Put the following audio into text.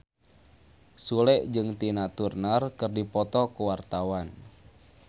Sule jeung Tina Turner keur dipoto ku wartawan